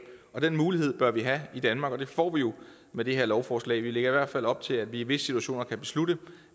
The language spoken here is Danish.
af den mulighed bør vi have i danmark og det får vi jo med det her lovforslag vi lægger i hvert fald op til at vi i visse situationer kan beslutte